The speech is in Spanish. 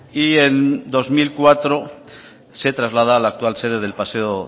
y en dos mil cuatro se traslada a la actual sede del paseo